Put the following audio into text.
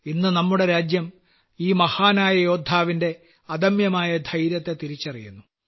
ഇന്ന് നമ്മുടെ രാജ്യം ഈ മഹാനായ യോദ്ധാവിന്റെ അദമ്യമായ ധൈര്യത്തെ തിരിച്ചറിയുന്നു